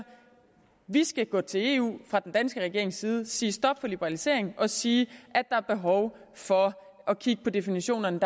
vi skal gå til eu fra den danske regerings side og sige stop for liberaliseringen og sige at der er behov for at kigge på definitionerne